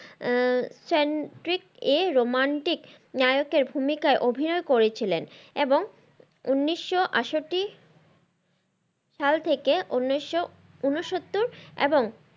আহ সেন্ট্রিকে romantic নায়কের ভুমিকায় অভিনয় করেছিলেন এবং উনিশশো আটষট্টি সাল থেকে উনিশশো ঊনসত্তর এবং,